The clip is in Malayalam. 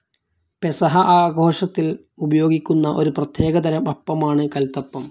പെസഹാ ആഘോഷത്തിൽ ഉപയോഗിക്കുന്ന ഒരു പ്രത്യേകതരം അപ്പമാണ് കൽത്തപ്പം.